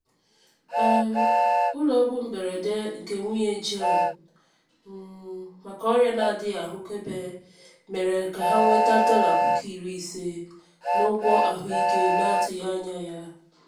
um ụlọọgwụ mberede nke nwunye jọn um maka ọrịa na-adịghị ahụkebe mere ka ha nweta dọla puku iri ise n'ụgwọ ahụike na-atụghị anya ya.